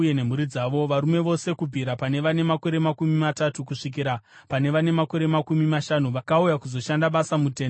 Varume vose kubvira pane vane makore makumi matatu kusvikira pane vane makore makumi mashanu vakauya kuzoshanda basa muTende Rokusangana,